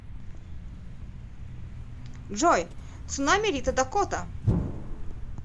джой цунами рита дакота